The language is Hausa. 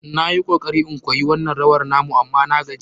Na yi kokari in koyi wannan rawar na mu amma na gaji.